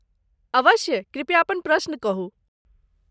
अवश्य, कृपया अपन प्रश्न कहू।